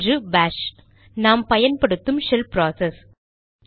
ஒன்று பாஷ் நாம் பயன்படுத்தும் ஷெல் ப்ராசஸ்